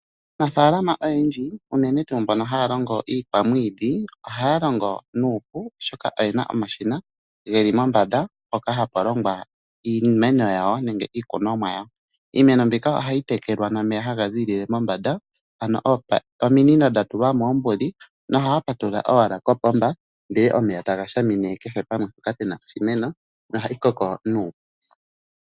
Aanafaalama oyendji unene tuu mbono haya longo iikwamwiidhi ohaya longo nuupu oshoka oyena omashina geli mombanda mpoka hapu longwa iimeno yawo nenge iikunomwa yawo. Iimeno mbika ohayi tekelwa nomeya haga ziilile mombanda ano ominino dha tulwa moombuli nohaya patulula owala kopomba ndele omeya taga shamine kehe pamwe mpoka pena oshimeno nohayi koko nuupu.